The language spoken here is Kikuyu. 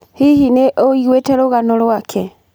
Hihi nĩ ũiguĩte rũgano rwake?